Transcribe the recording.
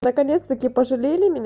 наконец-таки пожалели меня